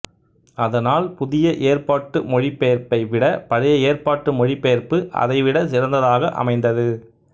அதனால் புதிய ஏற்பாட்டு மொழிபெயர்ப்பை விட பழைய ஏற்பாட்டு மொழிபெயர்ப்பு அதை விட சிறந்ததாக அமைந்தது